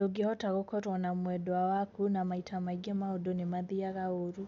Ndungihota gũkorwo na mwendwa waku na maita mangi maundũ nimathiaga ũrũ.